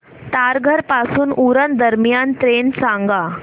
तारघर पासून उरण दरम्यान ट्रेन सांगा